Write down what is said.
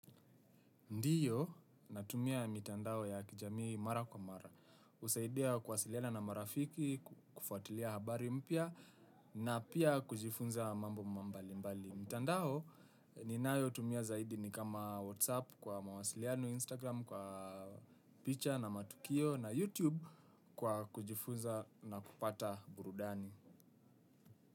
Ndiyo natumia mitandao ya kijamii mara kwa mara. Usaidia kuwasiliana na marafiki, kufuatilia habari mpya na pia kujifunza mambo mbali mbali. Mitandao ninayo tumia zaidi ni kama whatsapp kwa mawasiliano instagram kwa picha na matukio na youtube kwa kujifunza na kupata burudani.